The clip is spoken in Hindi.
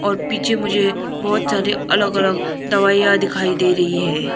पीछे मुझे बहोत ज्यादे अलग अलग दवाइयां दिखाई दे रही हैं।